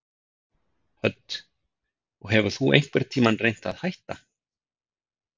Hödd: Og hefur þú einhvern tímann reynt að hætta?